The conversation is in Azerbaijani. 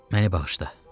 Məni bağışla.